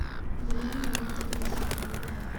елена геннадьевна сергеева